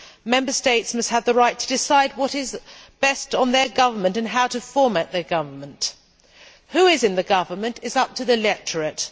Member States must have the right to decide what is best for their government and how to format their government. Who is in the government is up to the electorate.